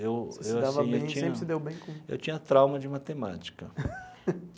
Eu eu assim. Você se dava bem, sempre se deu bem com... Eu tinha trauma de matemática.